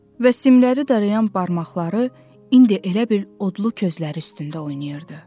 Və simləri darayan barmaqları indi elə bil odlu közlər üstündə oynayırdı.